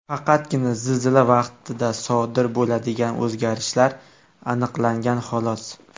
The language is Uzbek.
Faqatgina zilzila vaqtida sodir bo‘ladigan o‘zgarishlar aniqlangan xolos.